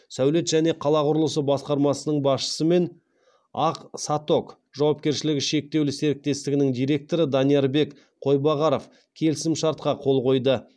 сәулет және қала құрылысы басқармасының басшысы мен ақ саток жауапкершілігі шектеулі серіктестігінің директоры даниярбек қойбағаров келісімшартқа қол қойды